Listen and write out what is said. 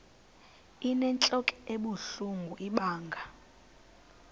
inentlok ebuhlungu ibanga